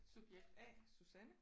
Subjekt A Susanne